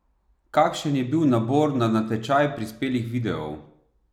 Kakšen je bil nabor na natečaj prispelih videov?